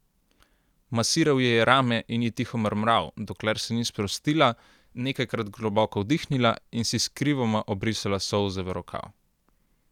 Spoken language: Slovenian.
Masiral ji je rame in ji tiho mrmral, dokler se ni sprostila, nekajkrat globoko vdihnila in si skrivoma obrisala solze v rokav.